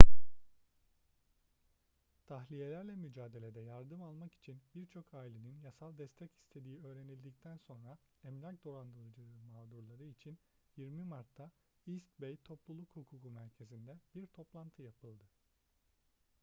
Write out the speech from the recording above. tahliyelerle mücadelede yardım almak için birçok ailenin yasal destek istediği öğrenildikten sonra emlak dolandırıcılığı mağdurları için 20 mart'ta east bay topluluk hukuku merkezinde bir toplantı yapıldı